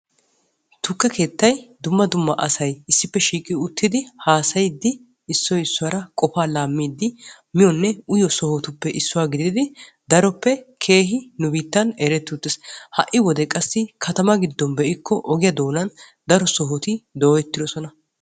Tukke keettay dumma dumma issippe shiiiqiddi haasayiddi qofaa laamiyo soho. Ha'i wodee qassi ambba heeran daro tukke keettatti de'osonna.